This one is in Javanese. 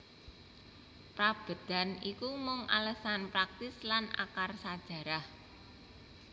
Prabédan iki mung alesan praktis lan akar sajarah